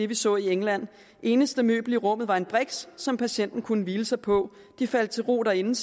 vi så i england det eneste møbel i rummet var en briks som patienten kunne hvile sig på de faldt til ro derinde